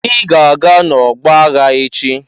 Ị ga-aga n'ọgbọ aghá echi!